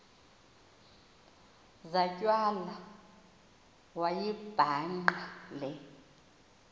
zatywala wayibhaqa le